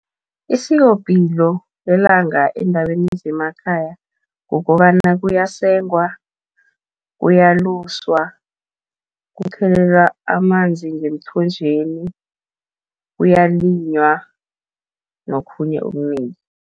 Isikopilo lelanga eendaweni zemakhaya, kukobana kuyasengwa, kuyaluswa, kukhelelwa amanzi ngemthonjeni, kuyalinywa nokhunye okunengi.